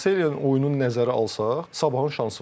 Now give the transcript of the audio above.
Seriyyanın oyununu nəzərə alsaq, sabahın şansı var.